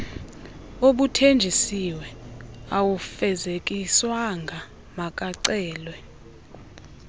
obuthenjisiwe awufezekiswanga makucelwe